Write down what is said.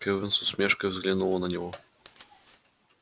кэлвин с усмешкой взглянула на него